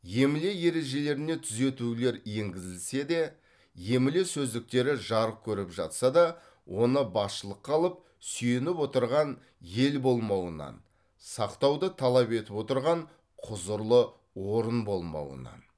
емле ережелеріне түзетулер енгізілсе де емле сөздіктері жарық көріп жатса да оны басшылыққа алып сүйеніп отырған ел болмауынан сақтауды талап етіп отырған құзырлы орын болмауынан